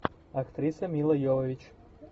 актриса мила йовович